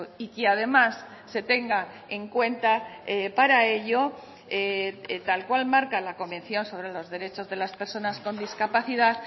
y que además se tenga en cuenta para ello tal cual marca la convención sobre los derechos de las personas con discapacidad